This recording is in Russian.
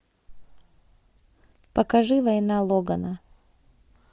покажи война логана